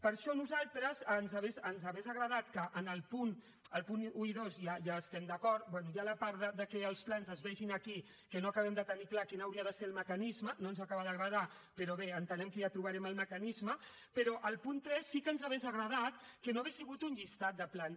per això amb els punts un i dos ja hi estem d’acord bé hi ha la part que els plans es vegin aquí que no acabem de tenir clar quin hauria de ser el mecanisme no ens acaba d’agradar però bé entenem que ja trobarem el mecanisme però al punt tres sí que ens hauria agradat que no hagués sigut un llistat de plans